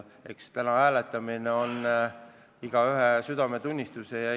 Eks tänane hääletamine on igaühe südametunnistuse asi.